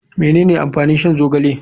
Menene amfanin shan zogale.